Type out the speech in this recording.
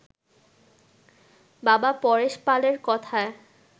বাবা পরেশ পালের কথায়